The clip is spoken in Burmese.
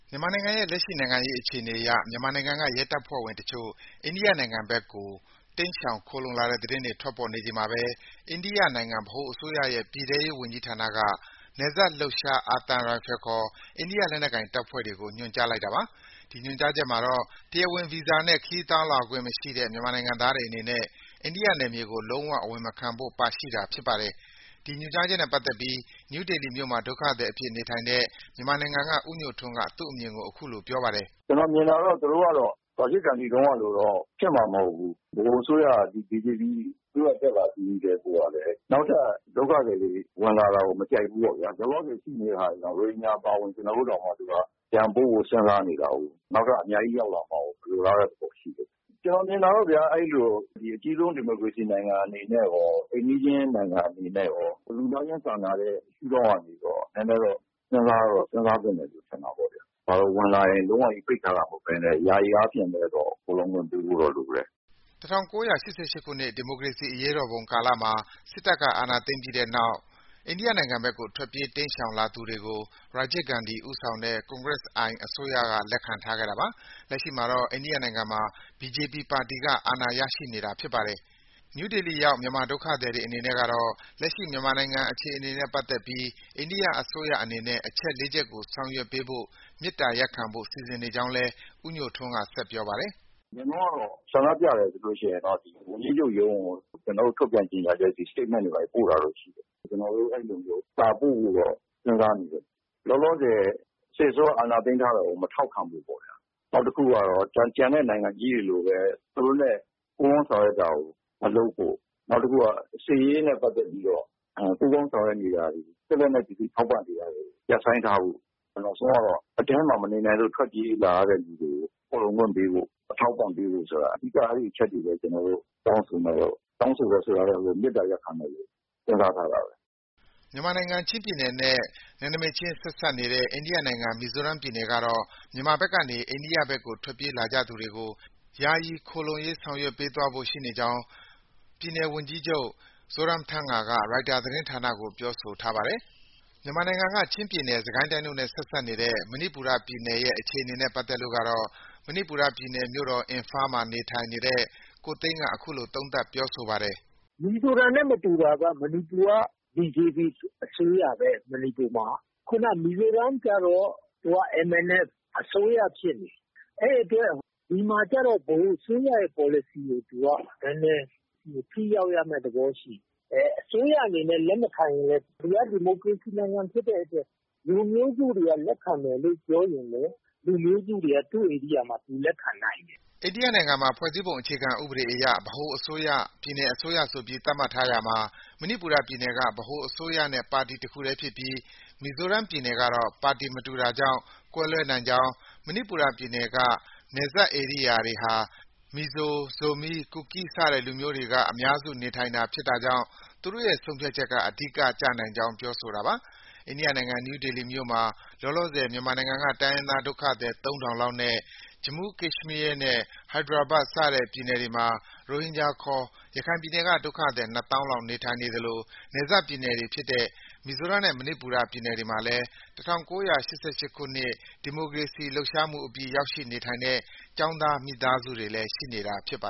မြန်မာနိုင်ငံရဲ့ လက်ရှိ နိုင်ငံရေးအခြေအနေအရ မြန်မာနိုင်ငံက ရဲတပ်ဖွဲ့ဝင်အချို့ အိန္ဒိယနိုင်ငံဘက်ကို တိမ်းရှောင်ခိုလှုံတဲ့သတင်းတွေ ထွက်ပေါ်နေချိန်မှာပဲ အိန္ဒိယနိုင်ငံ ဗဟိုအစိုးရရဲ့ ပြည်ထဲရေးဝန်ကြီးဌာနက နယ်စပ်လှုပ်ရှား အာသံရိုင်ဖယ်ခေါ် အိန္ဒိယလက်နက်ကိုင်တပ်တွေကို ညွှန်ကြားလိုက်တာပါ။ ဒီညွှန်ကြားချက်မှာတော့ တရားဝင်ဗီဇာနဲ့ ခရီးသွားလာခွင့် မရှိတဲ့ မြန်မာနိုင်ငံသားတွေအနေနဲ့ အိန္ဒိယနယ်မြေကို လုံး၀ အဝင်မခံဖို့ ပါရှိတာဖြစ်ပါတယ်။ ဒီညွှန်ကြားချက်နဲ့ပတ်သက်ပြီး နယူးဒေလီမြို့မှာ ဒုက္ခသည်အဖြစ် နေထိုင်တဲ့ မြန်မာနိုင်ငံက ဦးညိုထွန်းက သူ့အမြင်ကို အခုလို ပြောပါတယ်။ “ကျနော်မြင်တာတော့ သူတို့ကတော့ ရာဂျစ်ဂန္ဒီတုန်းကလို ဖြစ်မှာတော့ မဟုတ်ဘူး။ ဗဟိုအစိုးရက ဒီ ဘီဂျေပီ အစိုးရ တက်လာပြီးကတည်းကိုကလည်း နောက်ထပ် ဒုက္ခသည်တွေ ဝင်လာတာကို မကြိုက်ဖူးပေါ့ဗျာ။ လောလောဆယ်ရှိနေတဲ့ ရိုဟင်ဂျာအပါအဝင် ကျနော်တို့တောင် ပြန်ပို့ဖို့ စဉ်းစားနေတာကိုး။ နောက်ထပ် အများကြီး ရောက်လာမှာကို မလိုလားတဲ့ သဘောရှိတယ်။ ကျနော်မြင်တာကတော့ဗျာ... အဲဒီလို အကြီးဆုံး ဒီမိုကရေစီနိုင်ငံအနေနဲ့ရော၊ အိမ်နီးချင်းနိုင်ငံအနေနဲ့ရော၊ လူသားချင်းစာနာတဲ့ ရှုဒေါင့်ကနေရော နည်းနည်းတော့ စဉ်းစားသင့်တယ်လို့ ထင်တာပဲ။ ဝင်လာရင် လုံးဝပြီး ပိတ်ထားတာမဟုတ်ဘဲ ယာယီအားဖြင့်တော့ ခိုလှုံခွင့်ပေးဖို့တော့ လိုတယ်။” ၁၉၈၈ ခုနှစ်ကတော့ ရာဂျစ်ဂန္ဒီဦးဆောင်တဲ့ Congress I အစိုးရလက်ထက်ကတော့ အိန္ဒိယနိုင်ငံကို တိမ်းရှောင်လာတာတွေ ရှိခဲ့တာပါ။ လက်ရှိမှာတော့ အိန္ဒိယနိုင်ငံမှာ BJP ပါတီက အာဏာရနေတာဖြစ်ပါတယ်။ နယူးဒေလီရောက်မြန်မာဒုက္ခသည်တွေအနေနဲ့ကတော့ လက်ရှိ မြန်မာနိုင်ငံအခြေအနေနဲ့ ပတ်သက်ပြီး အိန္ဒိယအစိုးရအနေနဲ့ အချက် ၄ ချက်ကိုဆောင်ရွက်ပေးဖို့ မေတ္တာရပ်ခံဖို့ စီစဉ်နေကြောင်းလည်း ဦးညိုထွန်းက ဆက်ပြောပါတယ်။ “အရင်တုန်းကတော့ ဆန္ဒပြတယ်ဆိုရင်တော့ ဝန်ကြီးချုပ်ရုံးကို ကျနော်တို့ တောင်းဆိုချက်တွေ၊ statement တွေ ပို့တာတော့ ရှိတယ်။ ကျနော်တို့ အဲဒီလိုမျိုး စာပို့ဖို့တော့ စဉ်းစားနေတယ်။ လောလောဆယ် စစ်အစိုးရ အာဏာသိမ်းထားတာကို မထောက်ခံဖို့ပေါ့။ နောက်တစ်ခုကတော့ ကျန်တဲ့ နိုင်ငံကြီးတွေလိုပဲ သူတို့နဲ့ ပူးပေါင်းဆောင်ရွက်တာကို မလုပ်ဖို့၊ နောက်တစ်ခုက စစ်ရေးနဲ့ ပတ်သက်ပြီးတော့ ပူးပေါင်းဆောင်ရွက်နေတာတွေ၊ စစ်လက်နက်ပစ္စည်း ထောက်ပံ့နေတာတွေ ရပ်ဆိုင်းထားဖို့၊ နောက်ဆုံးကတော့ အထဲမှာ မနေနိုင်လို့ ထွက်ပြေးလာတဲ့သူတွေကို ခိုလှုံခွင့်ပေးဖို့၊ အထောက်အပံ့ ပေးဖို့ ဆိုတာ အဓိက အဲဒီအချက်တွေ ကျနော်တို့ တောင်းဆိုမယ်လို့.... တောင်းဆိုမယ်ဆိုတာထက် မေတ္တာရပ်ခံဖို့ စဉ်းစားထားတာပဲ။” မြန်မာနိုင်ငံ ချင်းပြည်နယ်နဲ့ ဆက်စပ်နေတဲ့ အိန္ဒိယနိုင်ငံ မီဇိုရမ်ပြည်နယ်ကတော့ မြန်မာဘက်ကနေ အိန္ဒိယဘက်ကို ထွက်ပြေးလာကြသူတွေကို ယာယီ ခိုလှုံရေး ဆောင်ရွက်ပေးသွားဖို့ ရှိနေကြောင်း ပြည်နယ်အကြီးအကဲ Zoramthanga ရိုက်တာ သတင်းဌာနကို ပြောဆိုထားပါတယ်။ မြန်မာနိုင်ငံက ချင်းပြည်နယ်၊ စစ်ကိုင်းတိုင်းတို့နဲ့ ဆက်စပ်နေတဲ့ မဏိပူရပြည်နယ်ရဲ့ အခြေအနေနဲ့ပတ်သက်လို့တော့ မဏိပူရပြည်နယ် မြို့တော် အင်ဖာမှာ နေထိုင်တဲ့ ကိုသိန်းက အခုလို သုံးသပ်ပြောဆိုပါတယ်။ “မီဇိုရမ်နဲ့ မတူတာက BJP အစိုးရပဲ မဏိပူမှာက။ ခုနက မီဇိုရမ်ကျတော့ MNF အစိုးရဖြစ်နေတာ။ အဲဒီအတွက် ဒီမှာကျတော့ ဗဟိုအစိုးရရဲ့ ပေါ်လစီကို နည်းနည်း ထိရောက်ရမယ့် သဘောရှိတယ်။ အဲဒီ အစိုးရအနေနဲ့ လက်မခံရင်လည်း ဒီက ဒီမိုကရေစီနိုင်ငံဖြစ်တဲ့အတွက် လူမျိုးစုတွေက လက်ခံမယ်လို့ ပြောရင်လည်း လူမျိုးစုတွေက သူ့ ဧရိယာမှာ သူလက်ခံနိုင်တယ်။” အိန္ဒိယနိုင်ငံမှာ ဖွဲ့စည်းပုံအခြေခံဥပဒေအရ ဗဟိုအစိုးရ၊ ပြည်နယ်အစိုးရဆိုပြီး သတ်မှတ်ထားရာမှာ မဏိပူရပြည်နယ်က ဗဟိုအစိုးရနဲ့ ပါတီတစ်ခုတည်းဖြစ်ပြီး မီဇိုရမ်ကတော့ ပါတီမတူတာကြောင့် ကွဲလွဲနိုင်ကြောင်း၊ မဏိပူရပြည်နယ်က နယ်စပ်ဧရိယာတွေဟာ မီဇို၊ ဇိုမီး၊ ကူကီး စတဲ့ လူမျိုးစုတွေ အများစုနေထိုင်တာကြောင့် သူတို့ရဲ့ ဆုံးဖြတ်ချက်က အဓိက ကျနိုင်ကြောင်း ပြောဆိုတာပါ။ အိန္ဒိယနိုင်ငံ နယူးဒေလီမြို့မှာ လောလောဆယ် မြန်မာနိုင်ငံက တိုင်းရင်းသားဒုက္ခသည် ၃,၀၀၀ လောက်နဲ့ ဂျမူး၊ ကက်ရှ်မီးယားနဲ့ ဟိုက်ဒရာဘတ် စတဲ့ ပြည်နယ်တွေမှာ ရိုဟင်ဂျာခေါ် ရခိုင်ပြည်နယ်က ဒုက္ခသည် ၂၀,၀၀၀ လောက် နေထိုင်နေသလို နယ်စပ်ပြည်နယ်တွေဖြစ်တဲ့ မီဇိုရမ်နဲ့ မဏိပူရပြည်နယ်တွေမှာလည်း ၁၉၈၈ ခုနှစ် ဒီမိုကရေစီရေးလှုပ်ရှားမှုအပြီး ရောက်ရှိနေထိုင်တဲ့ ကျောင်းသား မိသားစုတွေလည်း ရှိနေတာဖြစ်ပါ